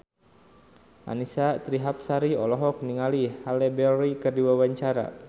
Annisa Trihapsari olohok ningali Halle Berry keur diwawancara